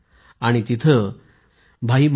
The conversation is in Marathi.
आणि तिथे भाई महाराज यांना समर्पित स्मारक देखील आहे